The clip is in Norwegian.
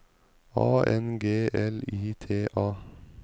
A N G E L I T A